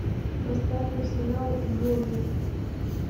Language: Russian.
поставь арсенал борнмут